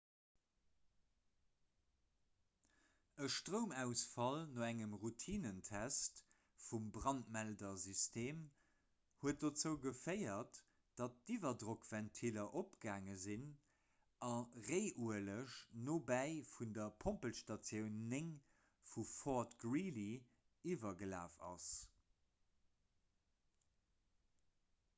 e stroumausfall no engem routinentest vum brandmeldersystem huet dozou geféiert datt d'iwwerdrockventiller opgaange sinn a réiueleg nobäi vun der pompelstatioun 9 vu fort greely iwwergelaf ass